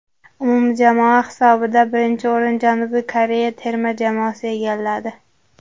Umumjamoa hisobida birinchi o‘rin Janubiy Koreya terma jamoasi egalladi.